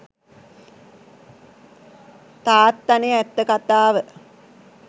තාත්තනෙ ඇත්ත කතාව.